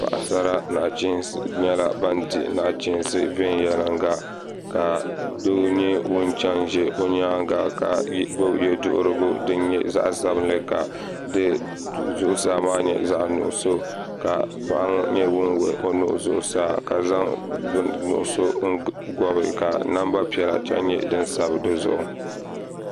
Paɣasara nyɛla bin di nachiinsi viɛnyɛla ka doo nyɛ ŋun ʒɛ o nyaanga ka gbubi yɛduɣurigu din nyɛ zaɣ sabinli ka di zuɣusaa maa nyɛ zaɣ nuɣso ka paɣa ŋo nyɛ ŋun wuhi o nuu zuɣusaa ka zaŋ bini n gobi ka namba piɛla nyɛ din sabi dizuɣu